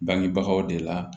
Bangebagaw de la